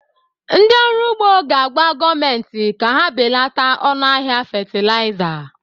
Ndị ọrụ ugbo ga-agwa gọọmentị ka ha belata ọnụ ahịa fatịlaịza